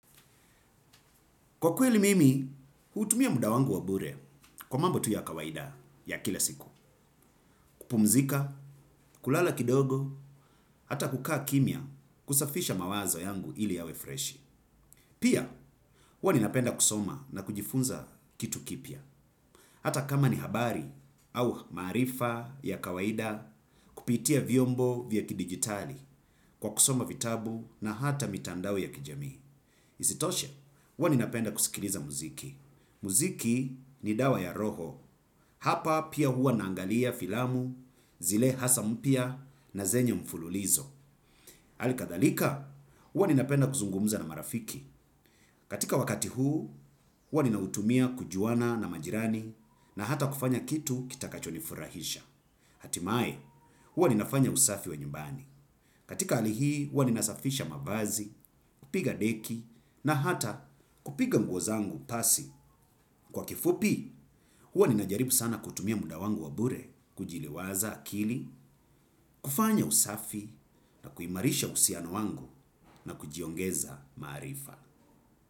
Kwa kweli mimi, hutumia muda wangu wa bure kwa mambo tu ya kawaida ya kila siku. Kupumzika kulala kidogo au hata kukaa kimya kidogo kusafisha mawazo yangu ili iwe fresh. Pia, huwa ninapenda kusoma na kujifunza kitu kipya. Hata kama ni habari au maarifa ya kawaida kupitia vyombo vya kidigitali kwa kusoma vitabu na hata mitandao ya kijamii. Isitoshe, huwa ninapenda kusikiliza muziki. Hapa pia huwa naangalia filamu zile hasa mpya na zenye mfululizo. Hali kadhalika huwa ninapenda kuzungumza na marafiki. Katika wakati huu huwa ninautumia kujuana na majirani na hata kufanya kitu kitakachonifurahisha. Hatimaye, huwa ninafanya usafi wa nyumbani. Katika hali hii, huwa ninasafisha mavazi, kupiga deki na hata kupiga nguo zangu pasi. Kwa kifupi, huwa ninajaribu sana kutumia muda wangu wa bure, kujiliwaza akili, kufanya usafi na kuimarisha uhusiano wangu na kujiongeza maarifa.